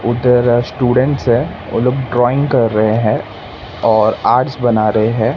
उधर स्टूडेंट्स है वो लोग ड्राइंग कर रहे है और आर्ट्स बना रहे हैं।